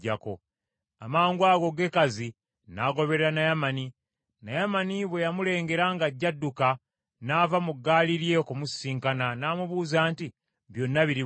Amangwago, Gekazi n’agoberera Naamani. Naamani bwe yamulengera ng’ajja adduka, n’ava mu gaali lye okumusisinkana, n’amubuuza nti, “Byonna biri bulungi?”